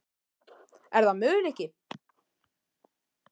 Er það möguleiki?